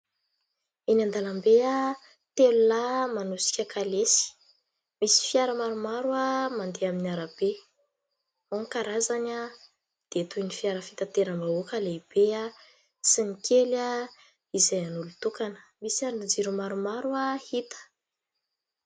Eny an-dàlambe, telo lahy manosika kalesy. Misy fiara maromaro mandeha amin'ny arabe. Ao ny karazany dia toy ny fiara fitanteram-bahoaka lehibe sy ny kely izay an'olon-tokana. Misy andrin-jiro maromaro hita.